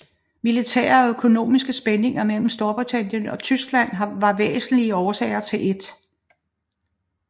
Militære og økonomiske spændinger mellem Storbritannien og Tyskland var væsentlige årsager til 1